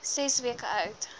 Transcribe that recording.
ses weke oud